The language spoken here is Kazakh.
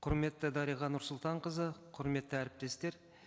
құрметті дариға нұрсұлтанқызы құрметті әріптестер